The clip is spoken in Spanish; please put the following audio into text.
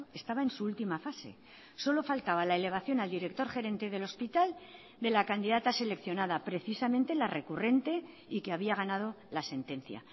estaba en su última fase solo faltaba la elevación al director gerente del hospital de la candidata seleccionada precisamente la recurrente y que había ganado la sentencia